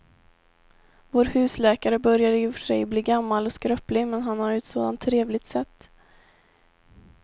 Vår husläkare börjar i och för sig bli gammal och skröplig, men han har ju ett sådant trevligt sätt!